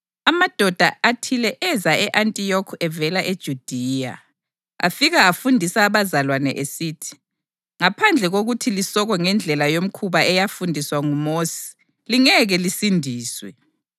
Amadoda athile eza e-Antiyokhi evela eJudiya, afika afundisa abazalwane esithi: “Ngaphandle kokuthi lisokwe ngendlela yomkhuba eyafundiswa nguMosi lingeke lisindiswe.”